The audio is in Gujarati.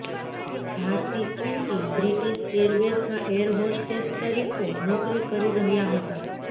ભારતી ખુંટી બ્રિટીશ એરવેઝમાં એર હોસ્ટેસ તરીકો નોકરી કરી રહ્યા હતા